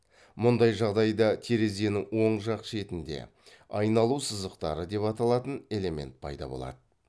мұндай жағдайда терезенің оң жақ шетінде айналу сызықтары деп аталатын элемент пайда болады